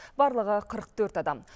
барлығы қырық төрт адам